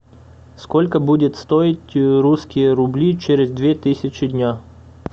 сколько будет стоить русские рубли через две тысячи дня